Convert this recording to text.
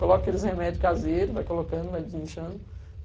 Coloca aqueles remédios caseiros, vai colocando, vai desinchando.